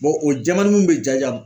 o jɛmani minnu bɛ ja ja